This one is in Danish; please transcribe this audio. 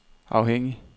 afhængig